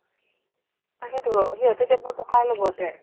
তাকেইতো ৰ' সিহঁতে টকা ল'ব সিহঁতে